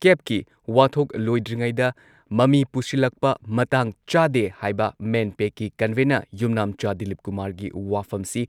ꯀꯦꯕꯀꯤ ꯋꯥꯊꯣꯛ ꯂꯣꯏꯗ꯭ꯔꯤꯉꯩꯗ ꯃꯃꯤ ꯄꯨꯁꯤꯜꯂꯛꯄ ꯃꯇꯥꯡ ꯆꯥꯗꯦ ꯍꯥꯏꯕ ꯃꯦꯟꯄꯦꯛꯀꯤ ꯀꯟꯚꯦꯟꯅꯔ ꯌꯨꯝꯅꯥꯝꯆꯥ ꯗꯤꯂꯤꯞꯀꯨꯃꯥꯔꯒꯤ ꯋꯥꯐꯝꯁꯤ